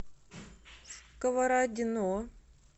сковородино